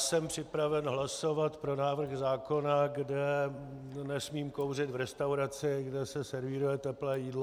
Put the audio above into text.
Jsem připraven hlasovat pro návrh zákona, kde nesmím kouřit v restauraci, kde se servíruje teplé jídlo.